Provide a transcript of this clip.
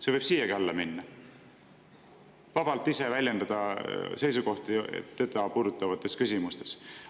See võib selle alla minna: vabalt ise väljendada oma seisukohti teda puudutavates küsimustes.